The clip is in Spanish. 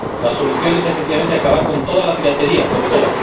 La solución es, efectivamente, acabar con toda la piratería, con toda